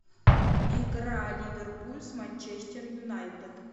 игра ливерпуль с манчестер юнайтед